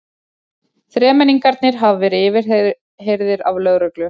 Þremenningarnir hafa verið yfirheyrðir af lögreglu